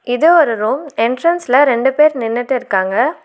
இது ஒரு ரோம் என்ட்ரன்ஸ்ல ரெண்டு பேர் நின்னுட்டுருக்காங்க.